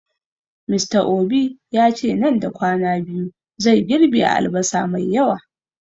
Mr obi yace nan da kwana biyu zai girɓe albasa mai yawa